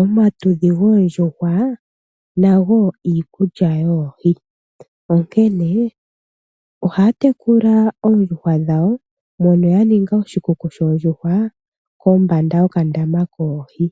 omatudhi goondjuhwa nago iikulya yoohi, onkene ohaya tekula oondjuhwa dhawo mono ya ninga oshikuku shoondjuhwa kombanda yokandama koohi.